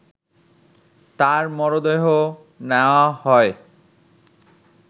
তার মরদেহ নেয়া হয়